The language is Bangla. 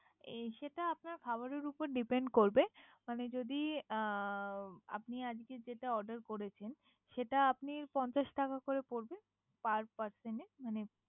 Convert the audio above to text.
এই সেটা আপনার খাবারের উপর Depent করবে। মানে যদি আপনি অ, আজকে যেটা Order করেছেন। সেটা আপনি পঞ্চাশ টাকা করে পরবে। Per person এ মানে।